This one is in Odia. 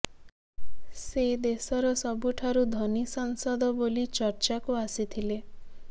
ସେ ଦେଶର ସବୁଠାରୁ ଧନୀ ସାଂସଦ ବୋଲି ଚର୍ଚ୍ଚାକୁ ଆସିଥିଲେ